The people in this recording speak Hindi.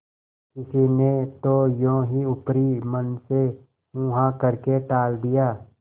किसी ने तो यों ही ऊपरी मन से हूँहाँ करके टाल दिया